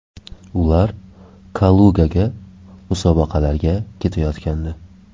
Ular Kalugaga musobaqalarga ketayotgandi.